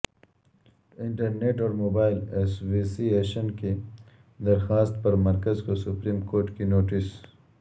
inter net اور mobile association کی درخواست پر مرکز کو سپریم کورٹ کی نوٹس